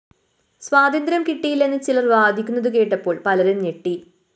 സ്വാതന്ത്ര്യം കിട്ടിയില്ലെന്നു ചിലര്‍ വാദിക്കുന്നതു കേട്ടപ്പോള്‍ പലരും ഞെട്ടി